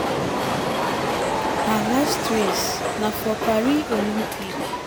um her last race na for paris olympic.